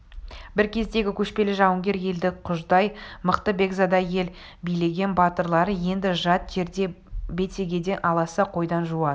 бір кездегі көшпелі жауынгер елді құждай мықты бекзада ел билеген батырлары енді жат жерде бетегеден аласа қойдан жуас